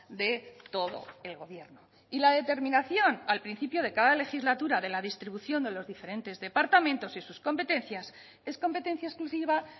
de todo el gobierno y la determinación al principio de cada legislatura de la distribución de los diferentes departamentos y sus competencias es competencia exclusiva